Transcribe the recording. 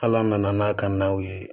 Hal'an nana n'a ka naw ye